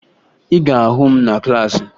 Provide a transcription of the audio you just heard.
Ị ga-ahụ m na klaasị